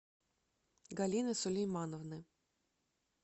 галины сулеймановны